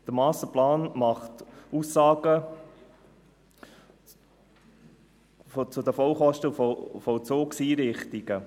Der Masterplan macht Aussagen zu den Vollkosten der Vollzugseinrichtungen.